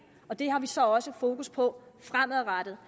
og det har vi så også fokus på fremadrettet